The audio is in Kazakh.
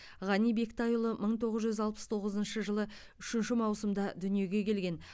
ғани бектайұлы мың тоғыз жүз алпыс тоғызыншы жылы үшінші маусымда дүниеге келген